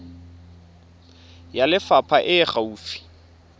ya lefapha e e gaufi